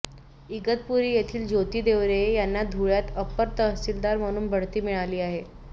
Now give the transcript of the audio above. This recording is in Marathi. इगतपुरी येथील ज्योती देवरे यांना धुळ्यात अपर तहसीलदार म्हणून बढती मिळाली आहे